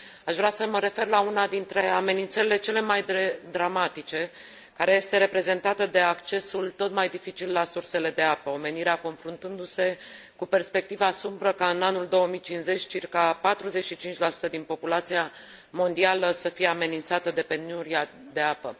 Aș vrea să mă refer la una dintre amenințările cele mai dramatice, care este reprezentată de accesul tot mai dificil la sursele de apă, omenirea confruntându se cu perspectiva sumbră ca, în anul 2050, circa 45 din populația mondială să fie amenințată de penuria de apă.